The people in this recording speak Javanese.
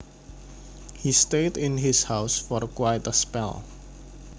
He stayed in his house for quite a spell